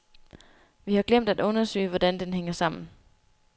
Vi har glemt at undersøge, hvordan den hænger sammen.